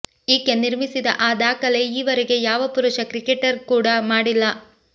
ಈಕೆ ನಿರ್ಮಿಸಿದ ಆ ದಾಖಲೆ ಈವರೆಗೆ ಯಾವ ಪುರುಷ ಕ್ರಿಕೆಟರ್ ಕೂಡಾ ಮಾಡಿಲ್ಲ